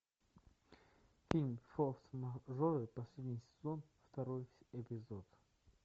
фильм форс мажоры последний сезон второй эпизод